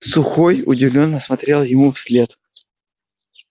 сухой удивлённо смотрел ему вслед